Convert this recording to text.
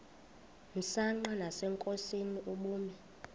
msanqa nasenkosini ubume